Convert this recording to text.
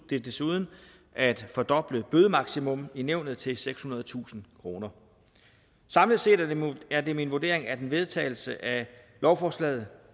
desuden at fordoble bødemaksimum i nævnet til sekshundredetusind kroner samlet set er det min vurdering at en vedtagelse af lovforslaget